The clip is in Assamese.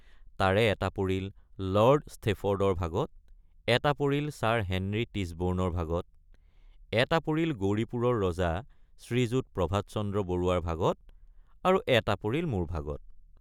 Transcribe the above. তাৰে এটা পৰিল লৰ্ড ষ্টেফৰ্ডৰ ভাগত এটা পৰিল ছাৰ হেনৰী টিছবৰ্ণৰ ভাগত এটা পৰিল গৌৰীপুৰৰ ৰজা শ্ৰীযুত প্ৰভাতচন্দ্ৰ বৰুৱাৰ ভাগত আৰু এটা পৰিল মোৰ ভাগত।